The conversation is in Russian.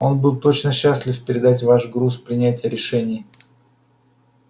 он был бы только счастлив передать вам груз принятия решений